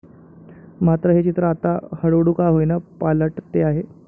मात्र हे चित्र आता हळूहळू का होईना पालटते आहे.